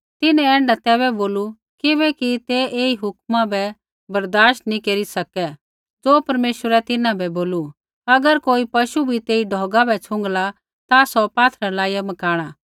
तिन्हैं ऐण्ढा तैबै बोलू किबैकि तै ऐई हुक्मा बै बर्दाश्त नैंई केरी सकै ज़ो परमेश्वरै तिन्हां बै बोलू अगर कोई पशु बी तेई ढौगा बै छ़ुँगला ता सौ पात्थरै लाइया मकाणा